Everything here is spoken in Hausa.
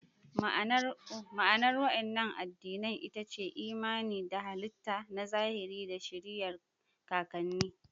Ma'anar waɗannan addinan ita ce imani da halittu na zahiri da shiriyar kakanni.